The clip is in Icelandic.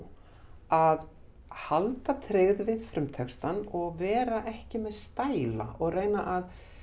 að halda tryggð við frumtextann og vera ekki með stæla og reyna að